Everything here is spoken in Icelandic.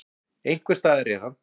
Einhvers staðar er hann.